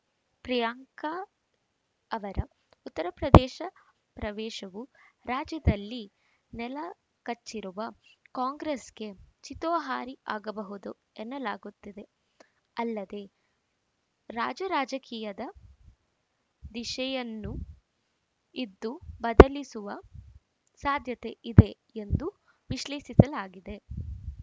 ಪ್ರಿಯಾಂಕಾ ಅವರ ಉತ್ತರಪ್ರದೇಶ ಪ್ರವೇಶವು ರಾಜ್ಯದಲ್ಲಿ ನೆಲಕಚ್ಚಿರುವ ಕಾಂಗ್ರೆಸ್‌ಗೆ ಚಿತೋಹಾರಿ ಆಗಬಹುದು ಎನ್ನಲಾಗುತ್ತಿದೆ ಅಲ್ಲದೆ ರಾಜ್ಯ ರಾಜಕೀಯದ ದಿಶೆಯನ್ನೂಇದು ಬದಲಿಸುವ ಸಾಧ್ಯತೆ ಇದೆ ಎಂದು ವಿಶ್ಲೇಷಿಸಲಾಗಿದೆ